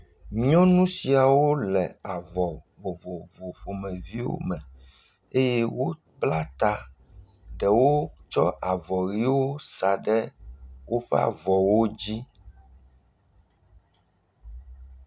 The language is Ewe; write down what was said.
Nyɔnu siawo le avɔ vovovo ƒomeviwo me eye wobla ta ɖewo tsɔ avɔ ʋiwo sa ɖe woƒe avɔwo dzi.